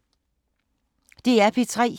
DR P3